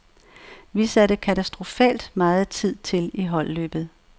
Vi satte katastrofalt meget tid til i holdløbet.